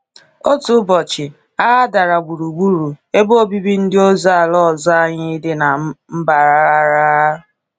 Otu ụbọchị, agha dara gburugburu ebe obibi ndị ozi ala ọzọ anyị dị na Mbarara.